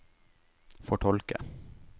fortolke